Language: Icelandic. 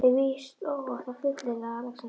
Er víst óhætt að fullyrða, að Alexander